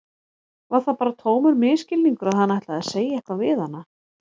Var það bara tómur misskilningur að hann ætlaði að segja eitthvað við hana?